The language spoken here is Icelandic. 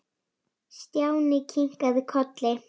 Stjáni kinkaði kolli.